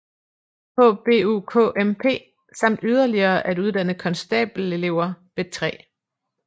HBUKMP samt yderligere at uddanne konstabelelever ved 3